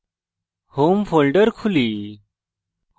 home folder খুলি